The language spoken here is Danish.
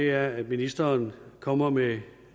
er at ministeren kommer med